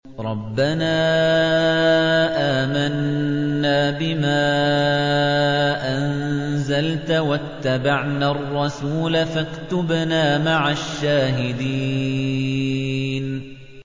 رَبَّنَا آمَنَّا بِمَا أَنزَلْتَ وَاتَّبَعْنَا الرَّسُولَ فَاكْتُبْنَا مَعَ الشَّاهِدِينَ